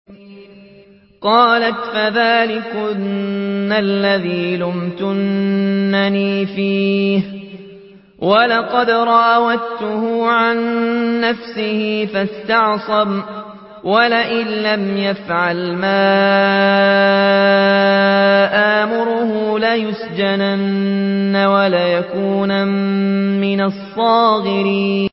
قَالَتْ فَذَٰلِكُنَّ الَّذِي لُمْتُنَّنِي فِيهِ ۖ وَلَقَدْ رَاوَدتُّهُ عَن نَّفْسِهِ فَاسْتَعْصَمَ ۖ وَلَئِن لَّمْ يَفْعَلْ مَا آمُرُهُ لَيُسْجَنَنَّ وَلَيَكُونًا مِّنَ الصَّاغِرِينَ